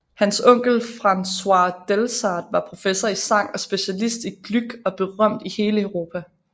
Hans onkel Francois Delsarte var professor i sang og specialist i Gluck og berømt i hele Europa